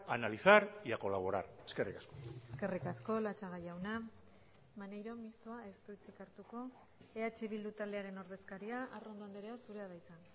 a analizar y a colaborar eskerrik asko eskerrik asko latxaga jauna maneiro mistoa ez du hitzik hartuko eh bildu taldearen ordezkaria arrondo andrea zurea da hitza